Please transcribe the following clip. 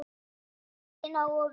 Ekki nógu vel.